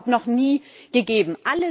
Das hat es überhaupt noch nie gegeben!